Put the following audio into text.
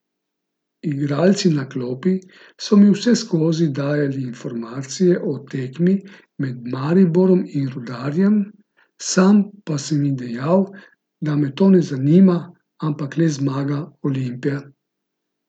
Igralci na klopi so mi vseskozi dajali informacije o tekmi med Mariborom in Rudarjem, sam pa sem jim dejal, da me to ne zanima, ampak le zmaga Olimpije.